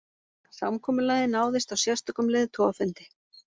Samkomulagið náðist á sérstökum leiðtogafundi